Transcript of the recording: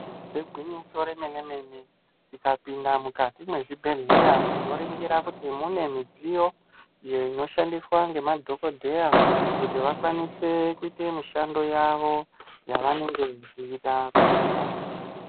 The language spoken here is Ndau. Igwinyiso remene mene, tikapinda mukati mwezvibhedhleya tinoringira kuti mune midziyo iyo inoshandiswa ngemadhokodheya kuti vakwanise kuite mishando yavo yavanenge vechida kuita.